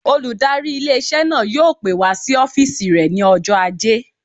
Olùdarí ilé-iṣẹ́ náà yóò pè wá sí ọ́fìsì rẹ̀ ní ọjọ́ ajé